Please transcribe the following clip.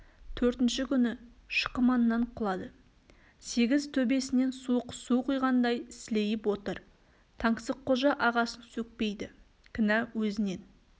төртінші күні шықыманнан құлады сегіз төбесінен суық су құйғандай сілейіп отыр таңсыққожа ағасын сөкпейді кінә өзінен